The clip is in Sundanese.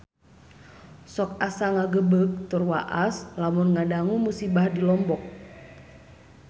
Sok asa ngagebeg tur waas lamun ngadangu musibah di Lombok